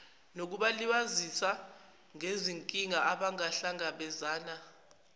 nokubasiza ngezinkinga abangahlangabezana